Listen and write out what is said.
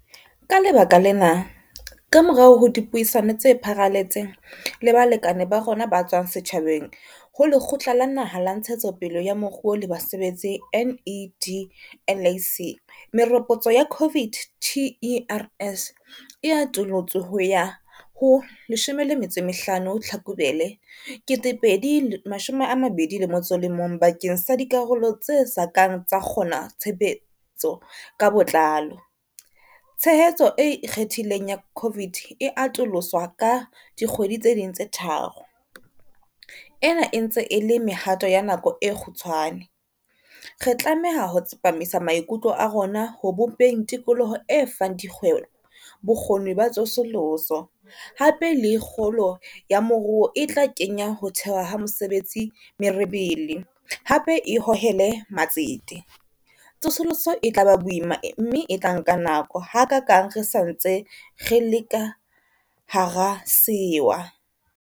Ke ka lebaka lena, kamorao ho dipuisano tse pharaletseng le balekane ba rona ba tswang setjhabeng ho Lekgotla la Naha la Ntshetsopele ya Moruo le Basebetsi NEDLAC, meropotso ya COVID TERS e atolotswe ho ya ho 15 Tlhakubele 2021 bakeng sa dikarolo tse sa kang tsa kgona tshebetso ka botlalo. Tshehetso e ikgethileng ya COVID e atolotswe ka dikgwedi tse ding tse tharo. Ena e ntse e le mehato ya nako e kgutshwane. Re tlameha ho tsepamisa maikutlo a rona ho bopeng tikoloho e fang dikgwebo bokgoni ba tsosoloso, hape le kgolo ya moruo e tla kenya ho thewa ha mesebetsi merebele, hape e hohele matsete. Tsosoloso e tla ba boima mme e tla nka nako, hakaakang re sa ntse re le ka hara sewa.